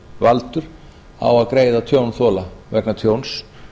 tjónvaldur á að greiða tjónþola vegna tjóns